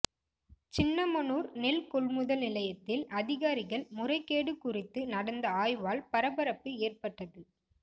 சின்னமனூர் நெல் கொள்முதல் நிலையத்தில் அதிகாரிகள் முறைகேடு குறித்து நடந்த ஆய்வால் பரபரப்பு ஏற்பட்டது